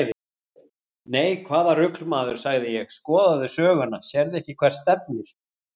Nei, hvaða rugl maður, sagði ég, skoðaðu söguna, sérðu ekki hvert stefnir?